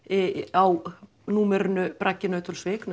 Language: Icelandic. á númerinu braggi Nauthólsvík